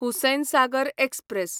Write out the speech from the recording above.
Hussain Sagar express